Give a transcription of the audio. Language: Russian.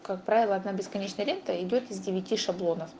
как правило одна бесконечная лента идёт из девяти шаблонов